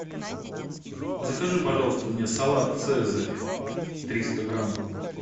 закажи пожалуйста мне салат цезарь триста грамм